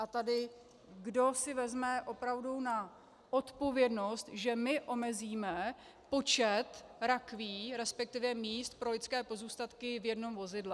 A tady kdo si vezme opravdu na odpovědnost, že my omezíme počet rakví, respektive míst pro lidské pozůstatky v jednom vozidle.